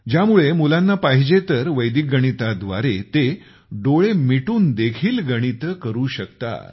ज्यामुळे मुलांना पाहिजे तर वैदिक गणिताद्वारे ते डोळे मिटून देखील गणिते करू शकतात